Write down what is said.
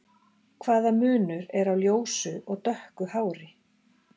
hvaða munur er á ljósu og dökku hári